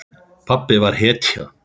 Pabbi var hetja.